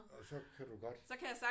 Og så kan du godt